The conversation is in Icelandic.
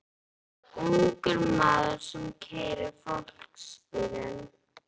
Það var ungur maður sem keyrði fólksbílinn.